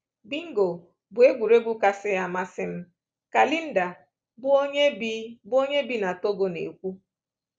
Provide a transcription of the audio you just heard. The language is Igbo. Bingo bụ egwuregwu kasị amasị m,” ka Linda, bụ́ onye bi bụ́ onye bi na Togo, na-ekwu.